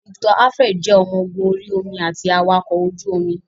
Victor Alfred jẹ́ ọmọ ogun orí omi àti awakọ̀ ojú omi.